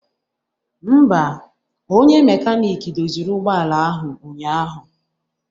Mba, onye mekanik doziri ụgbọala ahụ ụnyaahụ